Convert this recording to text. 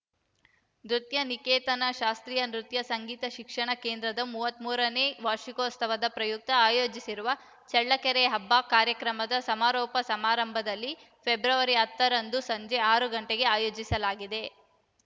ನೃತ್ಯ ನಿಕೇತನ ಶಾಸ್ತ್ರೀಯ ನೃತ್ಯ ಸಂಗೀತ ಶಿಕ್ಷಣ ಕೇಂದ್ರದ ಮೂವತ್ತ್ ಮೂರನೇ ವಾರ್ಷಿಕೋತ್ಸವದ ಪ್ರಯುಕ್ತ ಆಯೋಜಿಸಿರುವ ಚಳ್ಳಕೆರೆ ಹಬ್ಬ ಕಾರ್ಯಕ್ರಮದ ಸಮಾರೋಪ ಸಮಾರಂಭವನ್ನು ಫೆಬ್ರವರಿ ಹತ್ತರಂದು ಸಂಜೆ ಆರು ಗಂಟೆಗೆ ಆಯೋಜಿಸಲಾಗಿದೆ